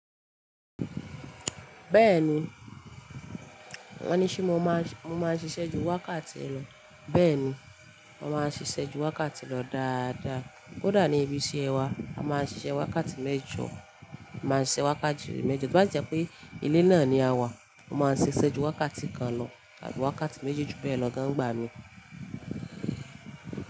Bẹ́ẹ̀ni, wọ́n ní ṣé mo máa ń ṣiṣẹ́ ju wákàtí lọ? Bẹ́ẹ̀ni, mo máa ń ṣiṣẹ́ ju wákàtí lọ dáadáa. Kódà ní ibi iṣẹ́ wa, a máa ń ṣiṣẹ́ wákàtí mẹ́jọ, máa ń ṣiṣẹ́ wákàtí mẹ́jọ. Bí o bá jẹ́ pé ilẹ̀ náà ni a wà, mo máa ń ṣiṣẹ́ ju wákàtí kan lọ tàbí wákàtí méjì ju bẹ́ẹ̀ lọ gan-an nigbà mí.